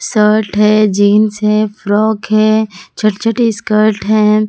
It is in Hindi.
शर्ट है जीन्स है फ्रॉक है छोटे छोटे स्कर्ट हैं।